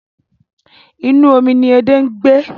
Inú omi ni edé ń gbé.